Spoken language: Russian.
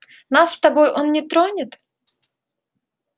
нас с тобой он не тронет